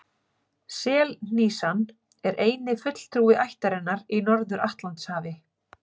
Selhnísan er eini fulltrúi ættarinnar í Norður-Atlantshafi.